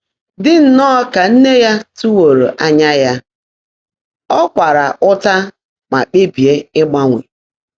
Dị́ nnọ́ọ́ kà nné yá tụ́wóró ányá yá, ọ́ kwààrá ụ́tà mà kpèbíé ị́gbáńwé.